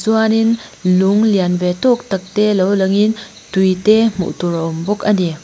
chuanin lung lianve tawk tak te lo lang in tui te hmuh tur a awm bawk a ni.